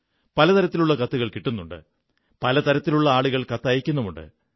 പല തരത്തിലുള്ള കത്തുകൾ കിട്ടുന്നുണ്ട് പല തരത്തിലുള്ള ആളുകൾ കത്തയക്കുന്നുണ്ട്